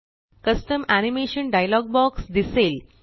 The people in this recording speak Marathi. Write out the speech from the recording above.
कस्टम एनिमेशन डायलॉग बॉक्स दिसेल